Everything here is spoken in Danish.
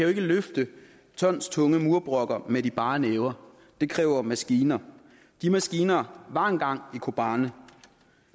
ikke løfte tonstunge murbrokker med de bare næver det kræver maskiner de maskiner var engang i kobani